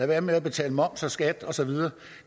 være med at betale moms og skat og så videre